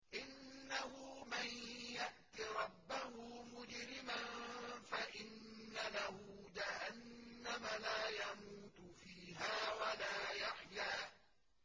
إِنَّهُ مَن يَأْتِ رَبَّهُ مُجْرِمًا فَإِنَّ لَهُ جَهَنَّمَ لَا يَمُوتُ فِيهَا وَلَا يَحْيَىٰ